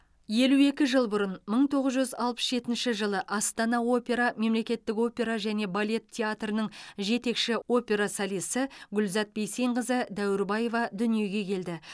елу екі жыл бұрын мың тоғыз жүз алпыс жетінші жылы астана опера мемлекеттік опера және балет театрының жетекші опера солисі гүлзат бейсенқызы дәуірбайева дүниеге келді